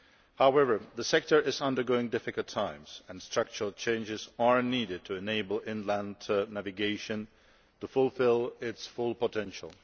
However, the sector is undergoing difficult times and structural changes are needed to enable inland navigation to fulfil its full potential.